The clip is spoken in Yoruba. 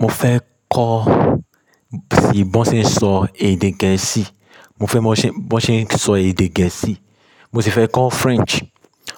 Mo fẹ́ kọ́ sí bí wọ́n ṣe ń sọ èdè gẹ̀ẹ́sì. Mo fẹ́ mọ bí wọ́n ṣe ń sọ èdè gẹ̀ẹ́sì. Mo sì fẹ́ kọ́ French.